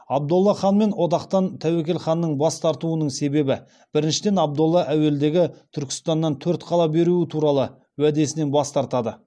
абдолла ханмен одақтан тәуекел ханның бас тартуының себебі біріншіден абдолла әуелдегі түркістаннан төрт қала беруі туралы уәдесінен бас тартады